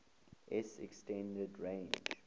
s extended range